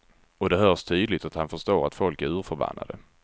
Och det hörs tydligt att han förstår att folk är urförbannade.